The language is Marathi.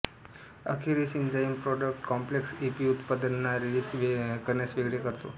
अखेरीस एंझाइमप्रॉडक्ट कॉम्प्लेक्स ईपी उत्पादनांना रिलीज करण्यास वेगळे करतो